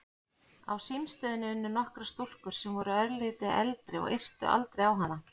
Á símstöðinni unnu nokkrar stúlkur sem voru örlítið eldri og yrtu aldrei á hana.